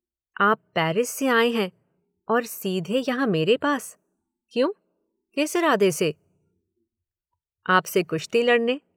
आप पैरिस से आए हैं और सीधे यहाँ मेरे पास। क्यों किस इरादे से। आपसे कुश्ती लड़ने